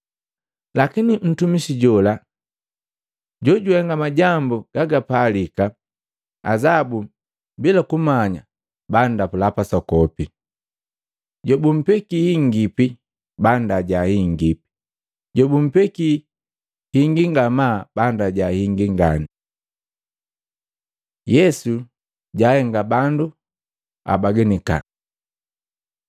Lakini ntumisi jola jojuhenga majambu gagapalika azabu bila kumanya banndapula pasoku. Jobumpekii hingipi banndaja hingi, jobupekii hingi ngamaa banndaja hingi ngani. Yesu jahenga bandu abaganika Matei 10:34-36